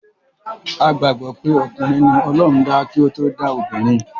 A gbàgbọ́ pé okùnrin ni ọlọ́run dá kí o to dá obìnrin.